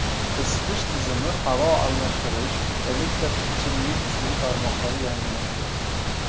Isitish tizimi, havo almashtirish, elektr, ichimlik suvi tarmoqlari yangilandi.